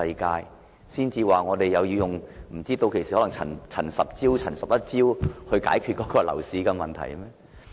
屆時可能要出"陳十招"或"陳十一招"來解決樓市問題。